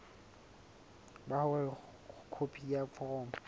ba hore khopi ya foromo